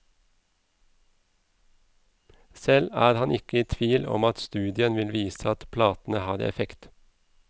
Selv er han ikke i tvil om at studien vil vise at platene har effekt.